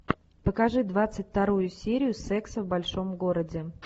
покажи двадцать вторую серию секса в большом городе